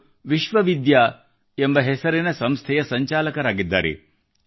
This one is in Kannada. ಅವರು ವಿಶ್ವವಿದ್ಯಾ ಎಂಬ ಹೆಸರಿನ ಸಂಸ್ಥೆಯ ಸಂಚಾಲಕರಾಗಿದ್ದಾರೆ